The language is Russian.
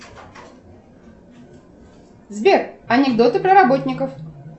сбер анекдоты про работников